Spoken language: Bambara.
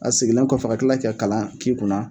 A sigilen kɔfɛ ka kila ka kalan k'i kunna.